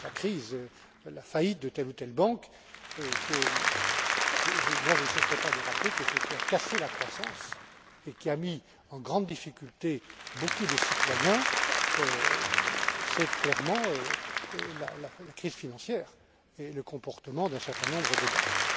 M. Klinz la crise et la faillite de telle ou telle banque je ne cesserai pas de rappeler que ce qui a cassé la croissance et qui a mis en grande difficulté beaucoup de citoyens, c'est clairement la crise financière et le comportement d'un certain nombre de banques.